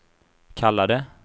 kallade